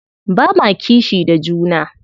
Ba ma kishi da juna.